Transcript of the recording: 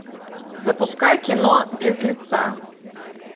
запускай кино без лица